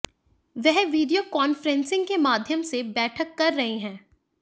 वह video conferencing के माध्यम से बैठक कर रहे है